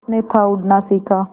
उसने था उड़ना सिखा